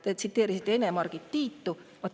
Te tsiteerisite Ene-Margit Tiitu.